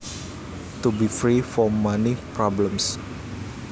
To be free from money problems